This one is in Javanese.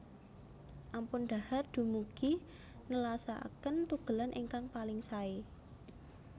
Ampun dhahar dumugi nelasaken tugelan ingkang paling saé